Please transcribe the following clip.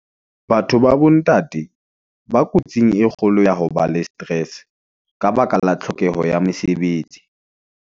Batho ba bo ntate , ba kotsing e kgolo ya ho ba le stress, ka baka la tlhokeho ya mesebetsi.